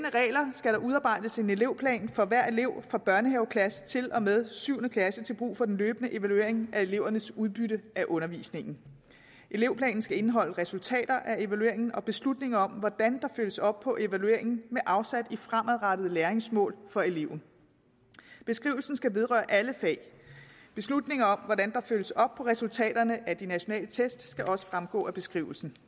skal der udarbejdes en elevplan for hver elev fra børnehaveklasse til og med syvende klasse til brug for den løbende evaluering af elevernes udbytte af undervisningen elevplanen skal indeholde resultater af evalueringen og beslutninger om hvordan der følges op på evalueringen med afsæt i fremadrettede læringsmål for eleven beskrivelsen skal vedrøre alle fag beslutninger om hvordan der følges op på resultaterne af de nationale test skal også fremgå af beskrivelsen